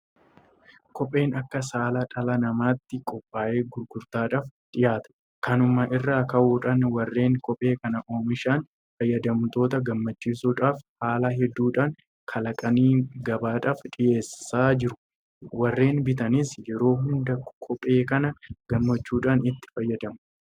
Kopheen akka saala dhala namaatti qophaa'ee gurgurtaadhaaf dhiyaata. Kanuma irraa ka'uudhaan warreen kophee kana oommishan fayyadamtoota gammachiisuudhaaf haala hedduudhaan kalaqanii gabaadhaaf dhiyeessaa jiru. Warreen bitatanis yeroo hunda kophee kana gammachuudhaan itti fayyadamu.